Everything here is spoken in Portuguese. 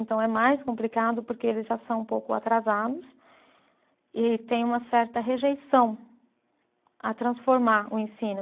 Então é mais complicado porque eles já são um pouco atrasados e tem uma certa rejeição a transformar o ensino.